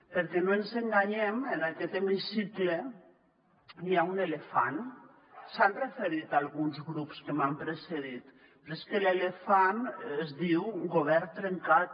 perquè no ens enganyem en aquest hemicicle hi ha un elefant s’hi han referit alguns grups que m’han precedit però és que l’elefant es diu govern trencat